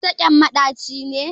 Sassaƙen maɗaci ne.